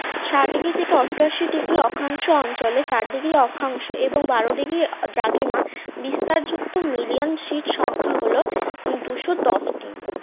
ষাট degree থেকে অষ্টাশি degree অক্ষাংশ অঞ্চলে চার degree অক্ষাংশ এবং বারো degree দ্রাঘিমা বিস্তার যুক্ত million sit সংখ্যা হল দুশো দশ টি